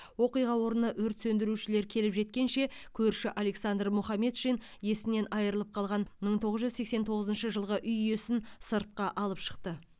оқиға орнына өрт сөндірушілер келіп жеткенше көрші александр мухамедшин есінен айырылып қалған мың тоғыз жүз сексен тоғызыншы жылғы үй иесін сыртқа алып шықты